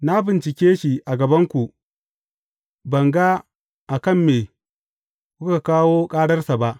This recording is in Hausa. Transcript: Na bincike shi a gabanku, ban ga a kan me kuka kawo kararsa ba.